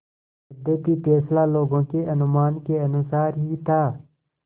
यद्यपि फैसला लोगों के अनुमान के अनुसार ही था